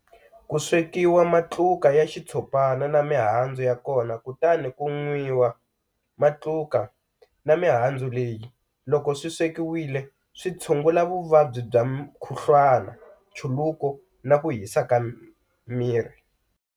ku swekiwa matluka ya xitshopana na mihandzu ya kona kutani ku nwiwa. Matluka na mihandzu leyi loko swi swekiwile, swi tshungula vuvabyi bya mukhuflwana, nchuluko na ku hisaka miri.